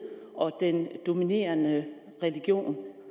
og den dominerende religion